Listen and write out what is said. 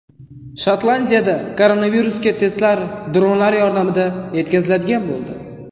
Shotlandiyada koronavirusga testlar dronlar yordamida yetkaziladigan bo‘ldi.